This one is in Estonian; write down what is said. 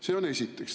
See on esiteks.